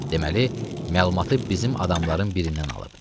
Deməli, məlumatı bizim adamların birindən alıb.